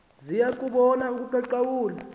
ziya bubona ubuqaqawuli